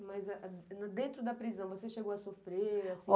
Mas, dentro da prisão, você chegou a sofrer?